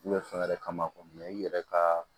U bɛ fɛn wɛrɛ kama i yɛrɛ ka